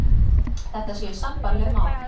Þetta séu sambærileg mál